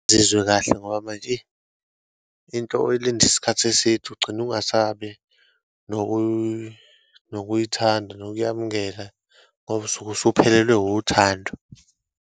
Ngizizwe kahle ngoba manje, eyi into oyilinde isikhathi eside, ugcine ungasabi nokuyithanda, nokuyamkela, ngoba usuke usuphelelwe wuthando.